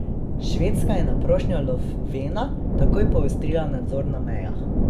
Švedska je na prošnjo Lofvena takoj poostrila nadzor na mejah.